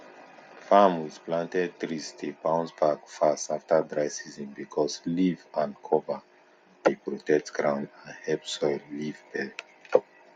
farm with planted trees dey bounce back fast after dry season because leaf and cover dey protect ground and help soil live well